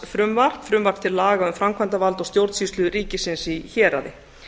sýslumannsfrumvarp frumvarp til laga um framkvæmdarvald og stjórnsýslu ríkisins í héraði